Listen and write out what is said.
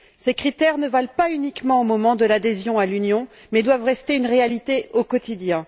Ces critères ne valent pas uniquement au moment de l'adhésion à l'Union, mais doivent rester une réalité au quotidien.